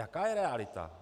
Jaká je realita?